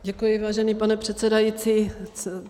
Děkuji, vážený pane předsedající.